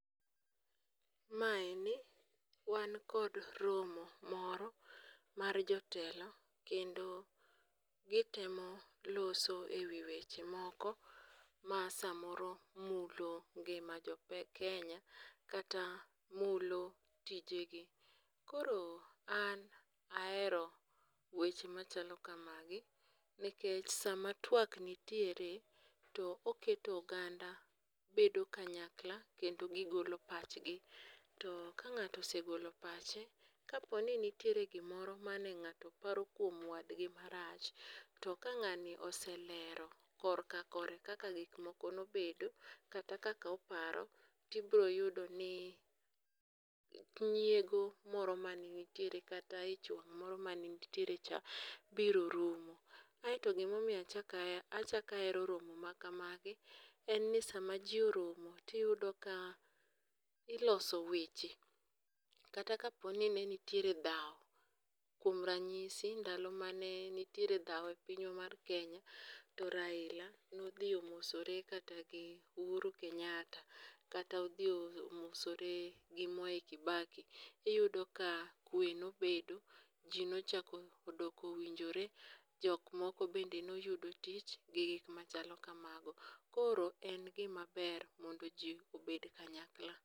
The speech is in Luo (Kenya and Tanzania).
ma eni wan kod romo moro mar jotelo kendo gitemo loso ewi weche moko ma samoro mulo ngima jokenya kata mulo tije gi ,koro an ahero welo machalo kamagi nikech sama twak nitiere to oketo oganda bedo kanyakla kendo gigolo pach gi to ka ng'ato osegolo pache kaponi nitiere gimoro mane ng'ato paro kuom wadgi marach to kang'ani oselero korka kore kaka gik moko nobedo kata kaka oparo, tiboyudo ni nyiego moro mane nitie kata ich wang' moro mane nitiere cha biro rumo, aeto gimo miyo achaka hero romo makama gi en si sama ji oromo tiyudo ka iloso weche kata kaponi ne nitiere dhaw kuom ranyisi ndalo mane nitiere dhaw e pinywa mar kenya to Raila nodhi omosore kata gi uhuru Kenyatta kata odhi omosore gi mwai Kibaki ,iyudo ka kwe nobedo ji nochak odoko winjore ,jok moko bende noyudo tich gi gik machalo kamago ,koro en gima ber mondo ji obed kanyakla.